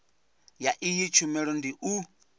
ya iyi tshumelo ndi u